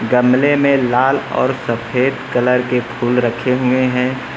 गमले में लाल और सफेद कलर के फूल रखे हुए हैं।